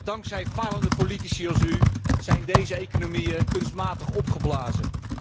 Dankzij falende politici als u zijn deze economieën kunstmatig opgeblazen.